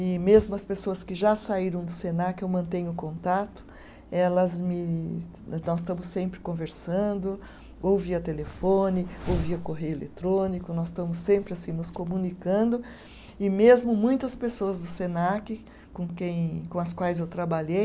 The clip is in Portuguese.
E mesmo as pessoas que já saíram do Senac, eu mantenho contato, elas me, nós estamos sempre conversando, ou via telefone, ou via correio eletrônico, nós estamos sempre assim nos comunicando e mesmo muitas pessoas do Senac com quem, com as quais eu trabalhei,